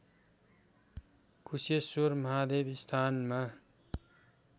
कुशेश्वर महादेव स्थानमा